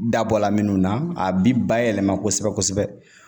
Dabɔla minnu na a bi bayɛlɛma kosɛbɛ kosɛbɛ